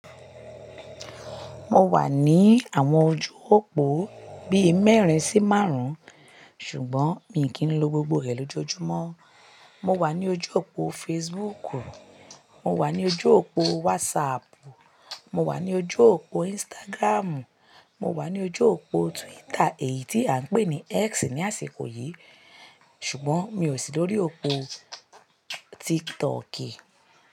Mo wà ní àwọn ojú òpó bí i mẹ́rin sí márùn, ṣùgbọ́n mi kì n lọ gbogbo rẹ̀ lójoojúmọ́. Mo wà ní ojú òpó Facebook, mo wà ní ojú òpó WhatsApp, mo wà ní ojú òpó Instagram, mo wà ní ojú òpó Twitter èyí tí à ń pè ní X ní àsìkò yìí, ṣùgbọ́n mi ò sí lórí òpó TikTok.